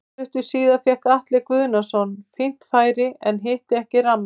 Stuttu síðar fékk Atli Guðnason fínt færi en hitti ekki rammann.